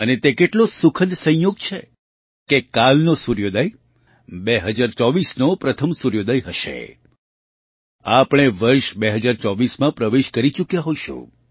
અને તે કેટલો સુખદ સંયોગ છે કે કાલનો સૂર્યોદય 2024નો પ્રથમ સૂર્યોદય હશે આપણે વર્ષ 2024માં પ્રવેશ કરી ચૂક્યા હોઈશું